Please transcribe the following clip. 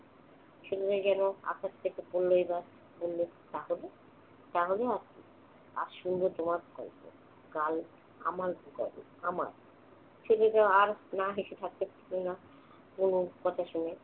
শুনে যেন আকাশ থেকে পড়ল এবার। বলল, তাহলে? তাহলে আর কি? আজ শুনবো তোমার গল্প। কাল আমার গল্প আমার। ছেলেটা আর না হেসে থাকতে পারল না তনুর কথা শুনে।